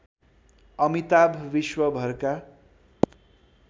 अमिताभ विश्वभरका